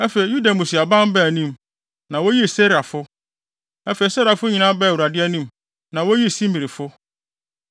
Afei Yuda mmusuaban baa anim, na woyii Serafo. Afei Serafo nyinaa baa Awurade anim, na woyii Simrifo.